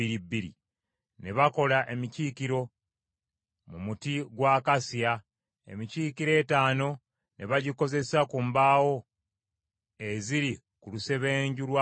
Ne bakola emikiikiro mu muti gwa akasiya. Emikiikiro etaano ne bagikozesa ku mbaawo eziri ku lusebenju lwa Weema olumu,